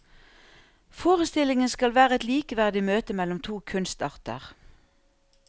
Forestillingen skal være et likeverdig møte mellom to kunstarter.